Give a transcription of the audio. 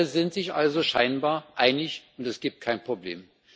Alle sind sich also scheinbar einig, und es gibt kein Problem.